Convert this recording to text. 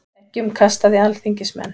Eggjum kastað í alþingismenn